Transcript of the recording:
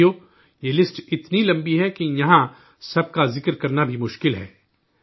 ساتھیو، یہ لسٹ اتنی لمبی ہے کہ یہاں سب کا ذکر کرنا بھی مشکل ہے